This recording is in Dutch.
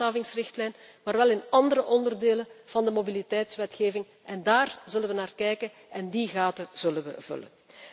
Niet in de handhavingsrichtlijn, maar wel in andere onderdelen van de mobiliteitswetgeving, daar zullen we naar kijken en die lacunes zullen we opvullen.